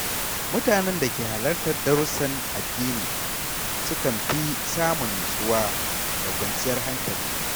Mutanen da ke halartar darusan addini sukan fi samun nutsuwa da kwanciyar hankali.